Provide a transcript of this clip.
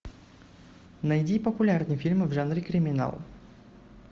найди популярные фильмы в жанре криминал